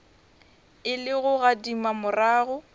e le go gadima morago